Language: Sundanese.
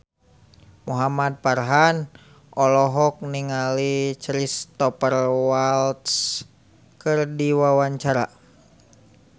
Muhamad Farhan olohok ningali Cristhoper Waltz keur diwawancara